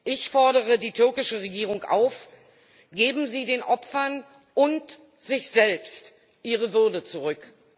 Ich fordere die türkische Regierung auf Geben Sie den Opfern und sich selbst ihre Würde zurück!